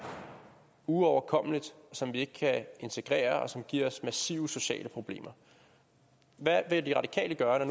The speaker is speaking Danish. uoverkommeligt og som vi ikke kan integrere og som giver os massive sociale problemer hvad vil de radikale gøre når